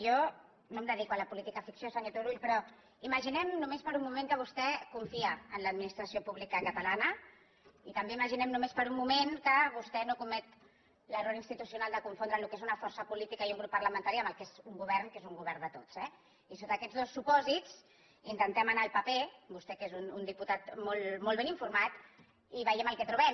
jo no em dedico a la política ficció senyor tu·rull però imaginem només per un moment que vostè confia en l’administració pública catalana i també ima·ginen només per un moment que vostè no comet l’error institucional de confondre el que és una força política i un grup parlamentari amb el que és un govern que és un govern de tots eh i sota aquest dos supòsits intentem anar al paper vostè que és un diputat molt ben informat i veiem el que tro·bem